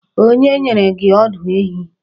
Onye nyere gị ọdụ ehi?